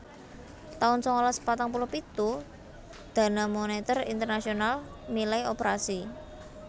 taun sangalas patang puluh pitu Dana Moneter Internasional milai operasi